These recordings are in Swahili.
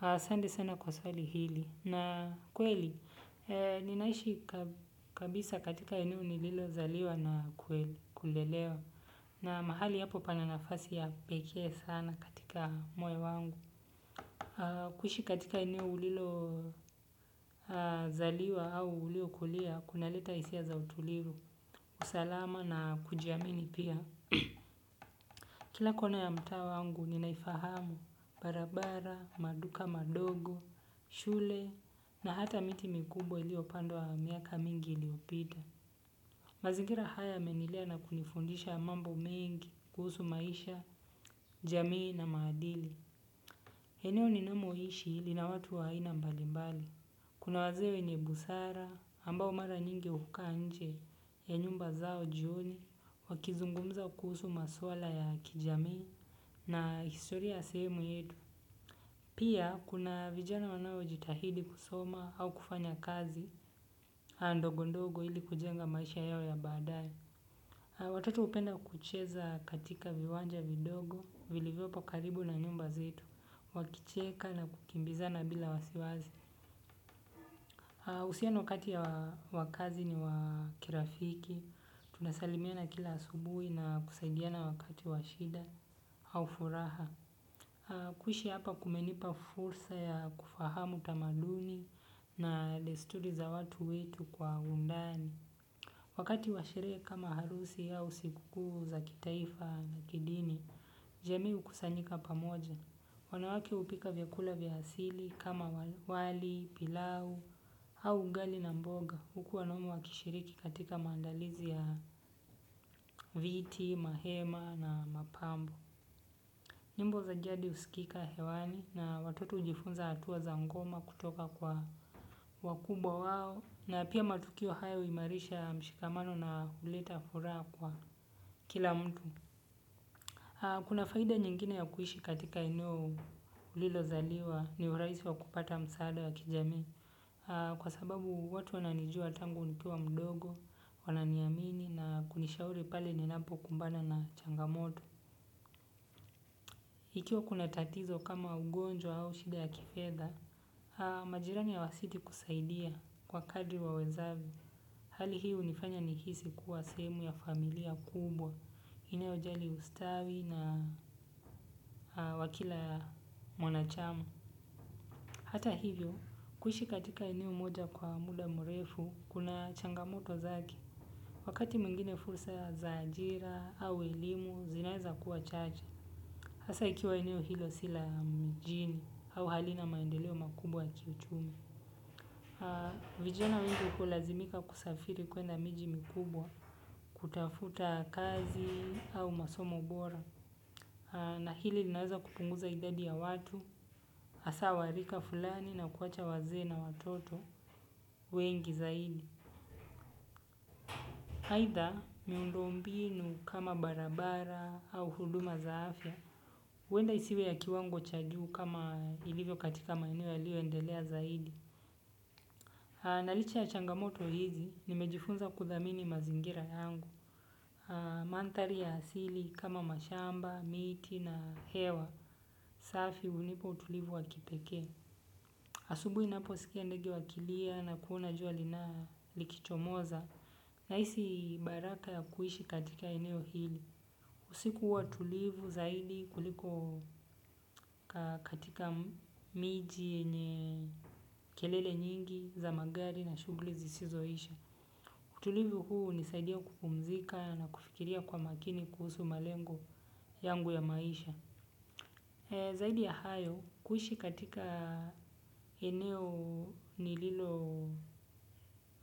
Asante sana kwa swali hili. Na kweli, ninaishi kabisa katika eneo nililo zaliwa na kulelewa. Na mahali hapo pananafasi ya kipekee sana katika moyo wangu. Kuhishi katika eneo ulilozaliwa au uliokulia, kunaleta hisia za utulivu, usalama na kujiamini pia. Kila kona ya mtaa wangu ninaifahamu barabara, maduka madogo, shule na hata miti mikubwa iliopandwawa miaka mingi iliopita. Mazingira haya yamenilea na kunifundisha mambo mengi kuhusu maisha, jamii na maadili eneo ninamoishi lina watu wa aina mbalimbali. Kuna wazee wenye busara, ambao mara nyingi hukaa nje ya nyumba zao jioni, wakizungumza kuhusu maswala ya kijamii na historia ya sehemu yetu. Pia kuna vijana wanaojitahidi kusoma au kufanyakazi ndogo ndogo ilikujenga maisha yao ya baadaye. Watoto hupenda kucheza katika viwanja vidogo, vilivyopo karibu na nyumba zetu, wakicheka na kukimbiza na bila wasiwasi. Uhusiano kati ya wa kaazi ni wa kirafiki, tunasalimiana kila asubuhi na kusaidiana wakati wa shida au furaha. Kuishi hapa kumenipa fursa ya kufahamu tamaduni na desturi za watu wetu kwa undani. Wakati washerehe kama harusi au siku kuu za kitaifa na kidini, jamii hukusanyika pamoja. Wanawake hupika vyakula vya asili kama wali, pilau, au ugali na mboga huku wanaume wakishiriki katika maandalizi ya viti, mahema na mapambo. Nyimbo za jadi husikika hewani na watoto hujifunza hatua za ngoma kutoka kwa wakubwa wao na pia matukio hayo huimarisha mshikamano na huleta furaha kwa kila mtu. Kuna faida nyingine ya kuishi katika eneo ulilo zaliwa ni urahisi wa kupata msaada wa kijamii. Kwa sababu watu wananijua tangu nikiwa mdogo, wananiamini na kunishauri pale ninapokumbana na changamoto. Ikiwa kuna tatizo kama ugonjwa au shida ya kifedha, majirani hawasiti kusaidia kwa kadri wa wezavyo. Hali hii hunifanya nihisi kuwa sehemu ya familia kubwa inayojali ustawi wa kila mwanachama. Hata hivyo, kuhishi katika eneo moja kwa muda mrefu, kuna changamoto zake. Wakati mwingine fursa za ajira au elimu, zinaweza kuwa chache. Hasa ikiwa eneo hilo si la mjini au halina maendeleo makubwa ya kiuchumi. Vijana wengi hulazimika kusafiri kwenda miji mikubwa, kutafuta kazi au masomo bora. Na hili linaweza kupunguza idadi ya watu, hasa warika fulani na kuwacha wazee na watoto wengi zaidi. Haidha miundombinu kama barabara au huduma za afya, huenda isiwe ya kiwango chajuu kama ilivyo katika maeneo yaliyoendelea zaidi. Na licha ya changamoto hizi nimejifunza kudhamini mazingira yangu. Mandhari ya asili kama mashamba, miti na hewa. Safi hunipa utulivu wa kipekee, asubuhi unaposikia ndege wakilia na kuona jua likichomoza. Na hisi baraka ya kuishi katika eneo hili. Usiku huwa tulivu zaidi kuliko katika miji yenye kelele nyingi za magari na shughuli zisizoisha. Tulivu huu hunisaidia kupumzika na kufikiria kwa makini kuhusu malengo yangu ya maisha. Zaidi ya hayo, kuhishi katika eneo nililo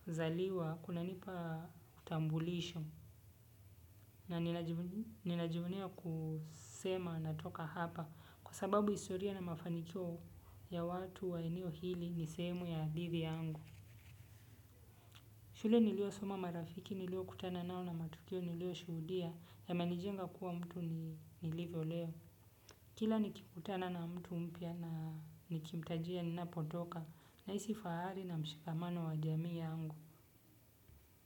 zaliwa, kunanipa utambulisho. Na ninajivunia kusema natoka hapa kwa sababu historia na mafanikio ya watu wa eneo hili ni sehemu ya hadithi yangu. Shule niliyosoma marafiki niliokutana nao na matukio niliyoshuhudia yamenijenga kuwa mtu nilivyo leo. Kila nikikutana na mtu mpya na nikimtajia ninapotoka nahisi fahari na mshikamano wa jamii yangu.